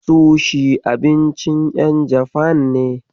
Sushi abincin ƴan Jafan ne.